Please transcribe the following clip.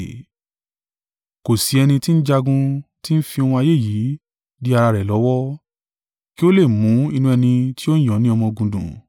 Kò sí ẹni tí ń jagun ti ń fi ohun ayé yìí dí ara rẹ̀ lọ́wọ́, kí ó lè mú inú ẹni tí ó yàn ni ọmọ-ogun dùn.